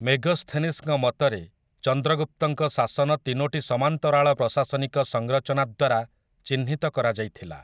ମେଗସ୍ଥେନିସ୍‌ଙ୍କ ମତରେ ଚନ୍ଦ୍ରଗୁପ୍ତଙ୍କ ଶାସନ ତିନୋଟି ସମାନ୍ତରାଳ ପ୍ରଶାସନିକ ସଂରଚନା ଦ୍ୱାରା ଚିହ୍ନିତ କରାଯାଇଥିଲା ।